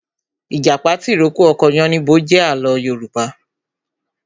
Ìjàpá tìrókó ọkọ yánníbo jẹ àlọ́ Yorùbá